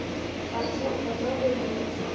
ga se gona go no